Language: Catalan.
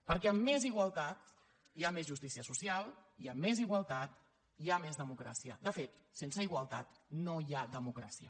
perquè amb més igualtat hi ha més justícia social hi ha més igualtat hi ha més democràcia de fet sense igualtat no hi ha democràcia